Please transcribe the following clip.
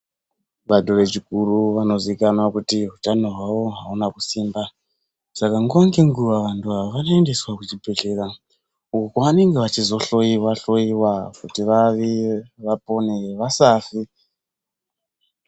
Vanhu vechikuru vanozikanwa kuti utano hwawo ahuna kusimba saka nguwa ngenguwa antu awa anoendeswa kuchibhedhlera uko kwavanenge vachizohloiwa hloiwa kuti vavi vapone vasafe.